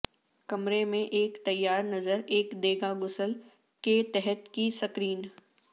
کمرے میں ایک تیار نظر ایک دے گا غسل کے تحت کی سکرین